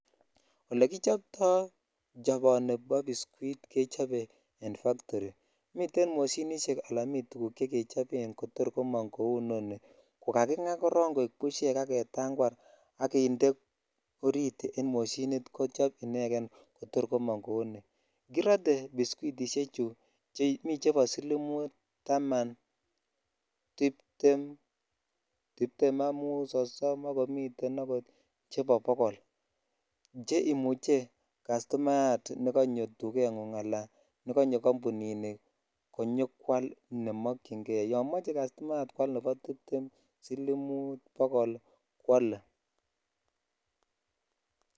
Ole kichopto choponi bo biskit kechope en [cs[factory miten moshinishej ala miten tukuk chekechoben tor komobmng kou ni ko kagingaa koron kaik bushes ak ketakwar ak jinde orit en moshinit kochop ineken ko tor komong ko ni kirote biskitishe chu miten chebo silimut ,taman tiptem ,tiptem ak mut ,konom miten akot bokol neimuch jastumayat nekonyi dugengung ala nekonyo kambuni ni ne mokyin kei yo moche kastunayat kwal nebo tiptem , silimut bokol kwole.